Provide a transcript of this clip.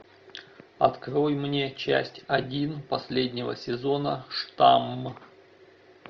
открой мне часть один последнего сезона штамм